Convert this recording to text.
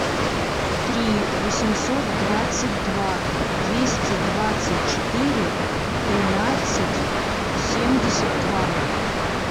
три восемьсот двадцать два двести двадцать четыре тринадцать семьдесят два